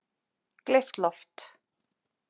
Gleypt loft